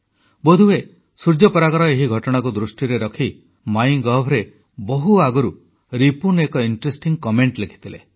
ବୋଧହୁଏ ସୂର୍ଯ୍ୟପରାଗର ଏହି ଘଟଣାକୁ ଦୃଷ୍ଟିରେ ରଖି ମାଇଁ ଗଭରେ ବହୁ ଆଗରୁ ରିପୁନ ଏକ ଆକର୍ଷଣୀୟ କମେଂଟ ଲେଖିଥିଲେ